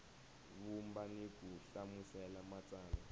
vumba ni ku hlamusela matsalwa